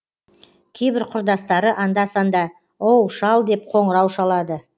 кейбір құрдастары анда санда оу шал деп қоңырау шалады